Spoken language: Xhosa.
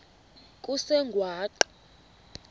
kusengwaqa